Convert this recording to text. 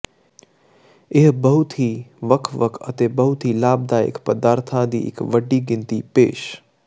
ਇਹ ਬਹੁਤ ਹੀ ਵੱਖ ਵੱਖ ਅਤੇ ਬਹੁਤ ਹੀ ਲਾਭਦਾਇਕ ਪਦਾਰਥ ਦੀ ਇੱਕ ਵੱਡੀ ਗਿਣਤੀ ਪੇਸ਼